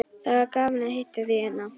Það var gaman að hitta þig hérna.